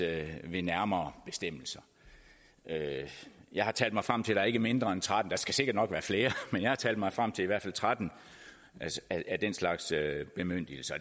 ved nærmere bestemmelse jeg har talt mig frem til at der er ikke mindre end trettende der skal sikkert nok være flere men jeg har talt mig frem til i hvert fald tretten af den slags bemyndigelser